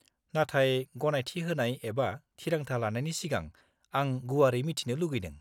नाथाय गनायथि होनाय एबा थिरांथा लानायनि सिगां, आं गुवारै मिथिनो लुगैदों।